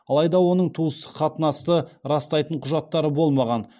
алайда оның туыстық қатынасты растайтын құжаттары болмаған